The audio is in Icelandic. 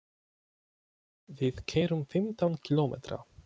Við keyrum fimmtán kílómetra.